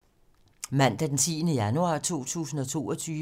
Mandag d. 10. januar 2022